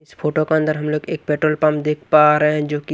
इस फोटो के अंदर हमलोग एक पेट्रोल पंप देख पा रहे हैं जो की--